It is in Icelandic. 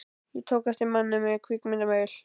Ég tók eftir manni með kvikmyndavél.